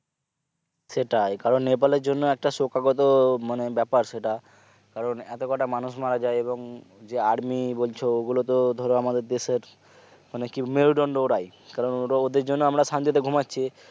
সেটাই কারণ নেপাল জন্য একটা শোকাহত মানে ব্যাপার সেটা কারণ একতা মানুষ মারা যায় এবং যে army বলছো ওগুলোতে ধরো আমাদের দেশের মানে কি মেরুদন্ড ওরাই কারণ ওরা ওদের জন্য আমরা শান্তিতে ঘুমা